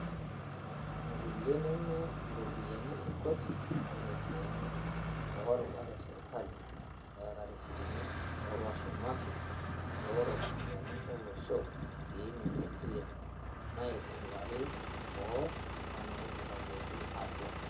Ngulia neme ropiyiani e kodi o ropiyiani o rubat e sirkali, eeta irisitini olashumaki looropiyiani olosho sininye isilen naitunguari boo o naitunguayioki atua.